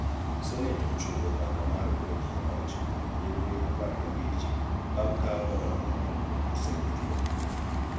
Senet ochungo mbaka mar goyo ji e loch kuom nyiriri apar gi abich bang' ka Gavana Mohamud oseyudo tuo